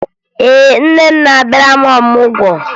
Ee, nne m na-abịara m ọmụgwọ